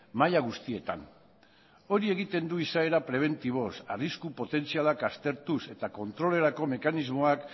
maila guztietan hori egiten du izaera prebentiboz arrisku potentzialak aztertuz eta kontrolerako mekanismoak